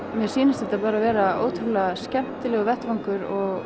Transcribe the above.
mér sýnist þetta bara vera ótrúlega skemmtilegur vettvangur